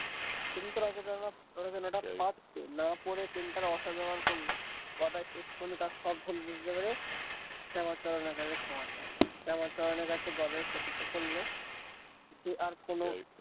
তুমি তো রচনাটা রচনাটা পারতে না পড়ে pen টার অসদ ব্যবহার করলে কেন গদাই শেষ পর্যন্ত তার সব ভুল বুঝতে পেরে শ্যামা চরণের কাছে ক্ষমা চাইল শ্যামা চরণের কাছে গদাই প্রতিজ্ঞা করল যে আর কোনো।